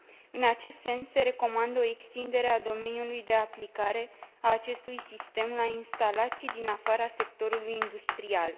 În acest sens, se recomandă o extindere a domeniului de aplicare a acestui sistem la instalații din afara sectorului industrial.